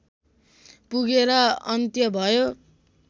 पुगेर अन्त्य भयो